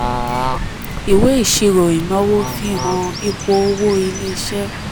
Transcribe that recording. ìwé ìṣirò ìnáwó fihan ipò owó ilé iṣẹ́.